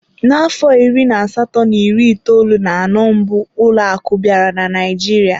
N'afọ iri na asatọ na iri itoolu na anọ mbụ ụlọ akụ bịara Naịjirịa.